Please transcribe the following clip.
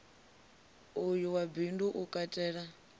uyu wa bindu u katela